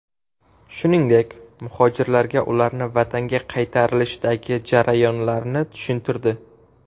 Shuningdek, muhojirlarga ularni vatanga qaytarilishdagi jarayonlarni tushuntirdi.